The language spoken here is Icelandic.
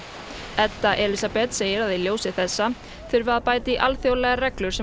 Edda Elísabet segir að í ljósi þessa þurfi að bæta í alþjóðlegar reglur sem